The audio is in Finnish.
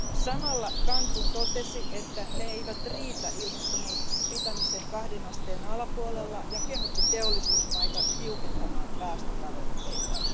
Samalla Cancún totesi, että ne eivät riitä ilmastomuutoksen pitämiseen kahden asteen alapuolella, ja kehotti teollisuusmaita tiukentamaan päästötavoitteitaan.